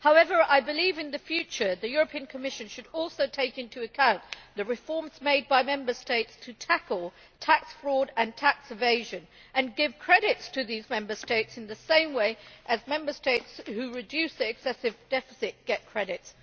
However, I believe in the future that the European Commission should also take into account the reforms made by Member States to tackle tax fraud and tax evasion and give credits to these Member States in the same way as Member States who reduce their excessive deficit get credits.